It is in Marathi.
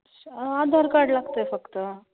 आधार card लागतंय फक्त.